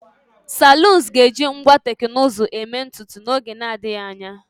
saloons ga-eji ngwa teknụzụ eme ntutu n'oge na-adịghị anya